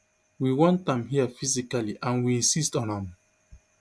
we want am here physically and we insist on am